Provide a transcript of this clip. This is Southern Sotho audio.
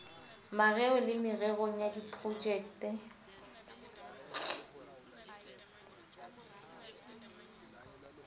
mareo le mererong ya diprojekte